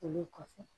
Olu kɔfɛ